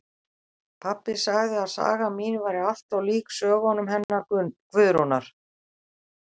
Pabbi sagði að sagan mín væri allt of lík sögunum hennar Guðrúnar